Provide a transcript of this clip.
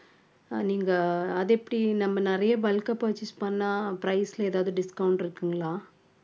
அஹ் நீங்க அது எப்படி நம்ம நிறைய bulk ஆ purchase பண்ணா price ல ஏதாவது discount இருக்குங்களா